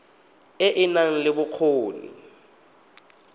e e nang le bokgoni